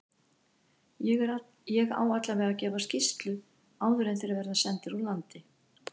Ég á allavega að gefa skýrslu áður en þeir verða sendir úr landi.